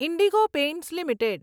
Indigo paints limited